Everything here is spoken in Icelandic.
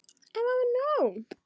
En það var nóg.